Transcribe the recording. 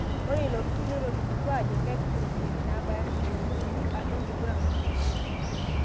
Ore ilo turrur netelimutuo aajo kepik iropiyiani naabaya millioni uni atua enkiguran oo nkituak.